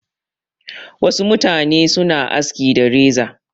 Wasu mutane suna aski da reza.